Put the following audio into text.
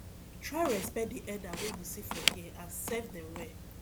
try respect di elder wey you see for there and serve dem well